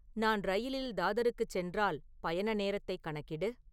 நான் ரயிலில் தாதருக்குச் சென்றால் பயண நேரத்தைக் கணக்கிடு